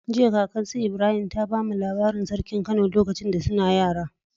Jiya kakar su Ibrahim ta bamu labarin sarkin kano lokacin da suna yara